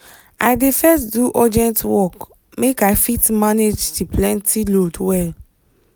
i dey first do urgent work make i fit manage the plenty load well.